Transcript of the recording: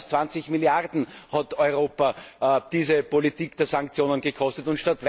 Schon mehr als 20 Milliarden hat Europa diese Politik der Sanktionen gekostet.